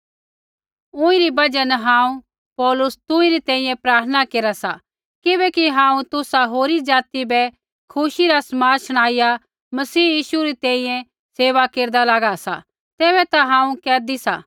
ऊँईरी बजहा न हांऊँ पौलुस तुसरी तैंईंयैं प्रार्थना केरा सा किबैकि हांऊँ तुसा होरी ज़ाति बै खुशी रा समाद शणाईया मसीह यीशु री तैंईंयैं सेवा केरदा लागा सा तैबै ता हांऊँ कैदी सा